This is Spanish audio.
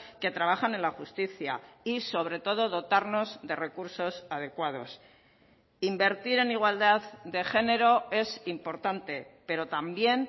que trabajan en la justicia y sobre todo dotarnos de recursos adecuados invertir en igualdad de género es importante pero también